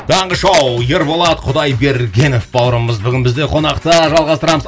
таңғы шоу ерболат құдайбергенов бауырымыз бүгін бізде қонақта жалғастырамыз